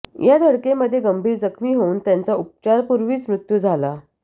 या धडकेमध्ये गंभीर जखमी होऊन त्यांचा उपचारापूर्वीच मृत्यू झाला